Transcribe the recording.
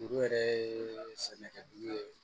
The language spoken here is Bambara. Olu yɛrɛ ye sɛnɛkɛ dugu ye